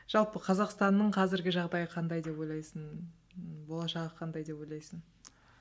жалпы қазақстанның қазіргі жағдайы қандай деп ойлайсың болашағы қандай деп ойлайсың